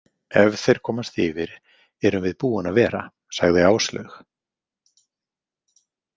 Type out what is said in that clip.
Ef þeir komast yfir erum við búin að vera, sagði Áslaug.